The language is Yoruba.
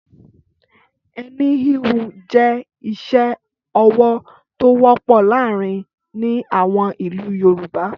Ẹni híhun jẹ́ iṣẹ́-ọwọ́ tó wọ́pọ̀ láàárin ní àwọn ìlú Yorùbá.